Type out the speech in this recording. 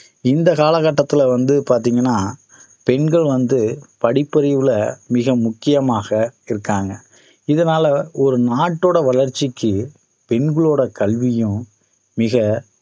இந்த காலகட்டத்தில வந்து பாத்தீங்கன்னா பெண்கள் வந்து படிப்பறிவில மிக முக்கியமாக இருக்காங்க இதனால ஒரு நாட்டோட வளர்ச்சிக்கு பெண்களோட கல்வியும் மிக